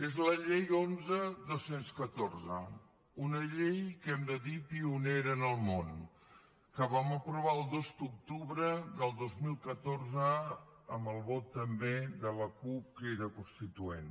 és la llei onze dos mil catorze una llei que hem de dir pionera en el món que vam aprovar el dos d’octubre del dos mil catorze amb el vot també de la cup crida constituent